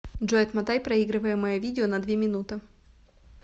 джой отмотай проигрываемое видео на две минуты